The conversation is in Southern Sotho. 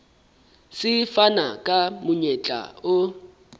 se fana ka monyetla o